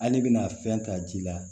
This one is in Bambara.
Hali bina fɛn ta ji la